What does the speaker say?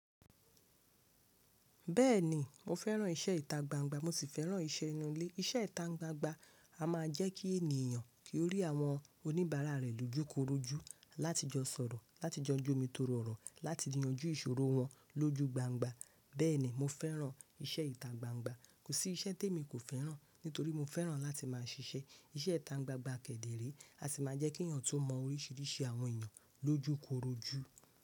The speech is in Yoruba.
Bẹ́ẹ̀ni mo fẹ́ràn iṣẹ́ ìtagbangba mo sì fẹ́ràn ìṣe ìnu ilé. Iṣẹ́ ìta gbangba a máa jẹ́ kí ènìyàn kí ó rí àwọn oníbàárà rẹ̀ lójúkorojú láti jọ sọ̀rọ̀, láti jọ jómitóro ọrọ, láti yanjú ìṣòro wọn lójú gbangba. Bẹ́ẹ̀ni mo fẹ́ràn iṣẹ́ ìta gbangba. Kò sí iṣẹ́ te mi kò fẹ́ràn nítorí mo fẹ́ràn láti máa ṣiṣẹ́. Iṣẹ́ ìta gbangba kẹ́dẹ̀ re a sì máa jẹ́ kí èèyàn tu mọ oríṣiríṣi àwọn èèyàn lójúkorojú.